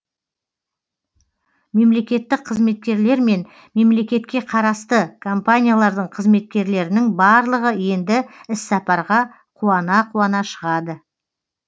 мемлекеттік қызметкерлер мен мемлекетке қарасты компаниялардың қызметкерлерінің барлығы енді іссапарға қуана қуана шығады